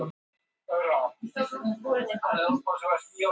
Ég hef aldrei talað við neinn sem er hjá öðrum klúbbi.